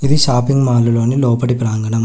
ఇది shopping mall లోని లోపటి ప్రాంగణం.